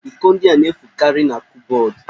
Iko ndị a na-efukarị n'kụpbọdụ